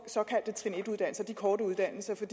såkaldte trin en uddannelser de korte uddannelser for